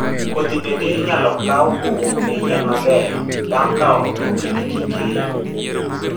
kodhi bende inyalo kawi kowuok e yien maber bang' kwao oboke gi kikeyo